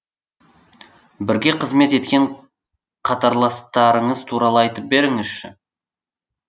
бірге қызмет еткен қатарластарыңыз туралы айтып беріңізші